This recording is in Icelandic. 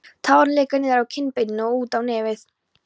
Tárin leka niður á kinnbeinin og út á nefið.